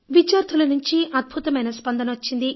విద్యార్థుల నుంచి అద్భుతమైన స్పందన వచ్చింది